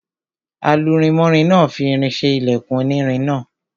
Alurinmọ́rin náà fi irin ṣe ilẹkùn onírin náà.